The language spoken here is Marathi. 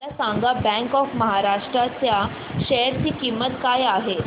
मला सांगा बँक ऑफ महाराष्ट्र च्या शेअर ची किंमत काय आहे